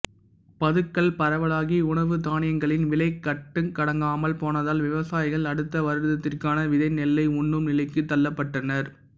பதுக்கல் பரவலாகி உணவு தானியங்களின் விலை கட்டுக்கடங்காமல் போனதால் விவசாயிகள் அடுத்த வருடத்திற்கான விதை நெல்லை உண்ணும் நிலைக்குத் தள்ளப்பட்டனர்